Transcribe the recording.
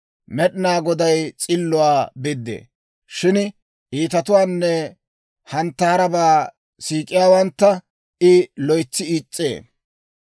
Med'inaa Goday s'illuwaa biddee. Shin iitatuwaanne kobabaa siik'iyaawantta I loytsi is's'ee.